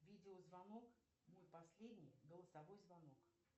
видеозвонок мой последний голосовой звонок